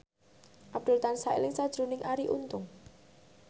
Abdul tansah eling sakjroning Arie Untung